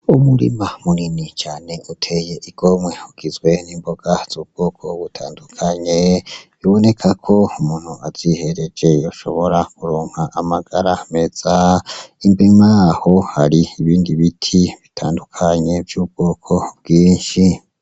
Umurima munini cane uteye igimwo ugizwe n'imboga z'ubwoko butandukanye biboneka konumuntu azihereje yoahobora kuronka amagara meza inyuma yaho haribibindi biti bitandukanye vy'ubwoko bwinshi.